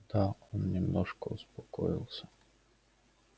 да он немножко успокоился